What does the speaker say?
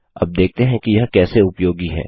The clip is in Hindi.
अब देखते हैं कि यह कैसे उपयोगी है